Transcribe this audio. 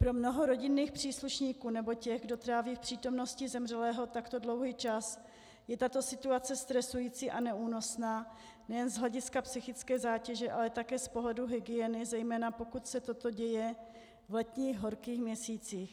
Pro mnoho rodinných příslušníků nebo těch, kdo tráví v přítomnosti zemřelého takto dlouhý čas, je tato situace stresující a neúnosná nejen z hlediska psychické zátěže, ale také z pohledu hygieny zejména, pokud se toto děje v letních horkých měsících.